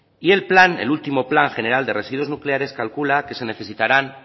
y el plan el último plan general de residuos nucleares calcula que se necesitarán